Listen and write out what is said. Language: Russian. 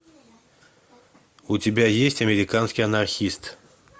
у тебя есть американский анархист